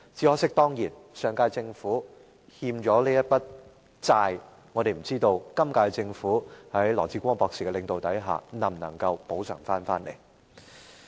可惜，上屆政府欠下的這筆債，我們不知道本屆政府在羅致光博士的領導下能否作出補償。